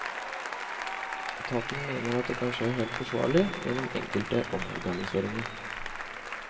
Etaten mener at det kan skje helt forsvarlig gjennom enkelte omorganiseringer.